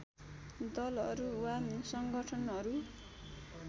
दलहरू वा संगठनहरू